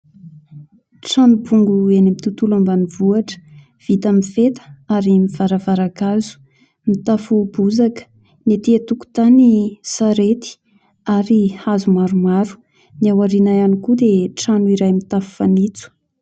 Trano bongo eny amin'ny tontolo ambanivohitra vita amin'ny feta ary misy varavarankely hazo, mitafo bozaka, ny etỳ an-tokotany : sarety ary hazo maromaro; ny ao aoriana ihany koa dia trano iray mitafo fanitso.